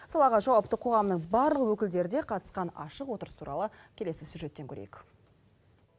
салаға жауапты қоғамның барлық өкілдері де қатысқан ашық отырыс туралы келесі сюжеттен көрейік